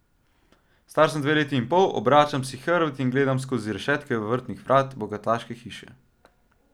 Star sem dve leti in pol, obračam si hrbet in gledam skozi rešetke vrtnih vrat bogataške hiše.